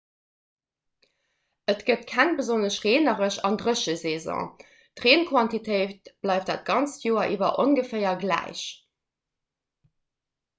et gëtt keng besonnesch reeneresch an dréche saison d'reenquantitéit bleift dat ganzt joer iwwer ongeféier gläich